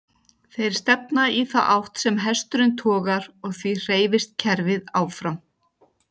Þeir stefna í þá átt sem hesturinn togar og því hreyfist kerfið áfram.